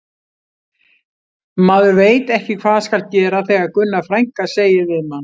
Maður veit ekki hvað skal gera þegar Gunna frænka segir við mann